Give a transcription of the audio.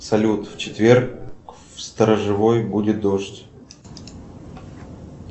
салют в четверг в сторожевой будет дождь